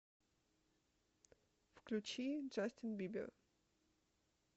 включи джастин бибер